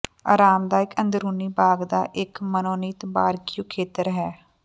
ਆਰਾਮਦਾਇਕ ਅੰਦਰੂਨੀ ਬਾਗ ਦਾ ਇੱਕ ਮਨੋਨੀਤ ਬਾਰਬਿਕਯੂ ਖੇਤਰ ਹੈ